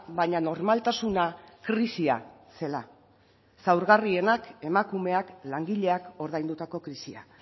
baina normaltasuna krisia zela zaurgarrienak emakumeak langileak ordaindutako krisia